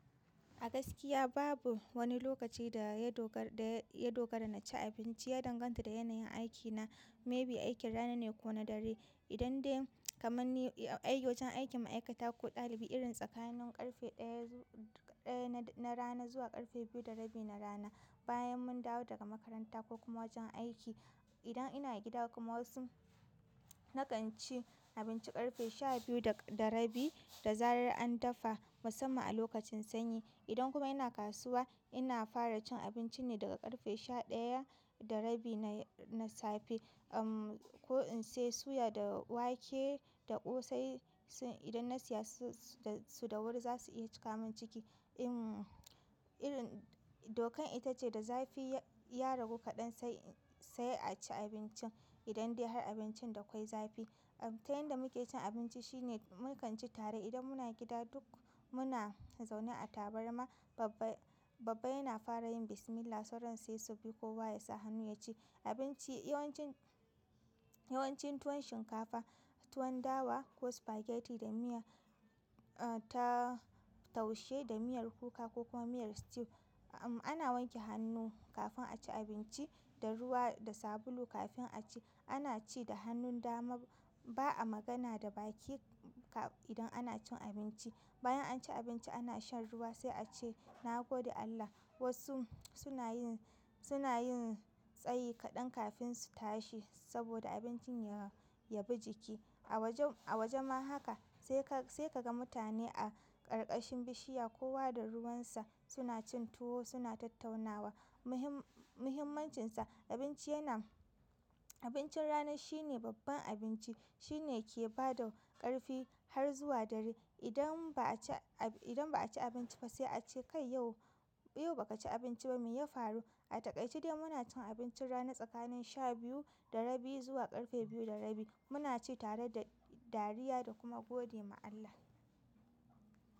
A gaskiya babu wani lokaci da ya dogara na ci abinci, ya danganta da yanayin aiki na. Maybe aikin rana ne ko na dare. Idan dai kamar ni wajan aikin maikatar ko ɗalibi irin tsakanin ƙarfe ɗaya na rana zuwa ƙarfe biyu na rana. Bayan mun dawo daga makaranta ko kuma wajen aiki, idan ina gida kuma wasu na kan ci abinci ƙarfe sha biyu da rabi da zarar an dafa musamman a lokacin sanyi. Idan kuma ina kasuwa ina fara cin abinci ne daga ƙarfe sha ɗaya da rabi na safe. Uhm, ko in sai suya da wake da ƙosai idan na siya su da wuri za su iya cika min ciki. Uhm, irin dokan ita ce da zafi ya ragu kaɗan sai, sai a ci abinci. Idan dai har abincin da ƙwai zafi. Uhm, ta yanda muke cin abinci shine mu kan ci tare. Idan muna gida duk muna zaune a tabarma. Babba, babba yana fara yin bismillah sauran sai su bi ko wa ya sa hannu ya ci abinci. Yawancin, yawancin tuwon shinkafa, tuwon dawa ko spaghetti da miya, uh, ta taushe da miyar kuka ko kuma miyar stew. Uhm, ana wanke hannu kafin a ci abinci, da ruwa da sabulu kafin a ci. Ana ci da hannun dama. Ba a magana da baki kaf, idan ana cin abinci. Bayan an ci abinci ana shan ruwa sai a ce "na gode Allah". Wasu suna yin, suna yin tsayi kaɗan kafin su tashi saboda abincin ya, ya bi jiki. A waje ma haka sai kaga mutane a ƙarƙashin bishiya kowa da ruwan sa suna cin tuwo suna tattaunawa muhim, muhimmancinsa abinci yana-- abincin rana shine babban abinci. Shine ke ba da ƙarfi har zuwa dare. Idan ba a ci, idan ba a ci abinci ba sai a ce "kai yau, yau ba ka ci abinci ba me ya faru?" Ataikace dai muna cin abincin rana tsakanin sha biyu da rabi zuwa ƙarfe biyu da rabi. Muna ci tare da dariya da kuma gode ma Allah.